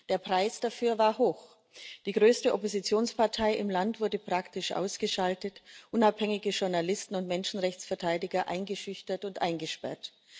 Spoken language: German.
Der Preis dafür war hoch Die größte Oppositionspartei im Land wurde praktisch ausgeschaltet, unabhängige Journalisten und Menschenrechtsverteidiger eingeschüchtert und eingesperrt.